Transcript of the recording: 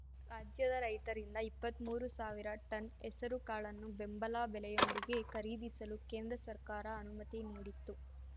ರಾಜ್ಯದ ರೈತರಿಂದ ಇಪ್ಪತ್ಮೂರು ಸಾವಿರ ಟನ್‌ ಹೆಸರು ಕಾಳನ್ನು ಬೆಂಬಲ ಬೆಲೆಯೊಂದಿಗೆ ಖರೀದಿಸಲು ಕೇಂದ್ರ ಸರ್ಕಾರ ಅನುಮತಿ ನೀಡಿತ್ತು